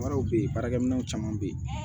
Wɛrɛw bɛ ye baarakɛminɛnw caman bɛ yen